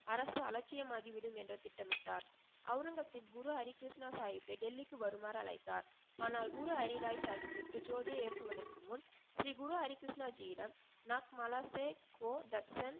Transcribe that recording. அரசு அலச்சியமாக்கிவிடும் என்ற திட்டமிட்டார். அவுரங்கசீப் குரு ஹரி கிருஷ்ணா சாஹிபிற்கு டெல்லிக்கு வருமாறு அழைத்தார். ஆனால் குரு ஹரி ராய் சாஹிபிற்கு ஜோதியை ஏற்றுவதற்கு முன் ஸ்ரீ குரு ஹரி கிருஷ்ணாஜியிடம் மலைசே கஹோ தர்ஷன்